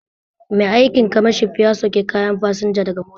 Ma'aikin kamashp ya sauke kayan fasinja daga mota